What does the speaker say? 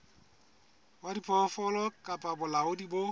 wa diphoofolo kapa bolaodi bo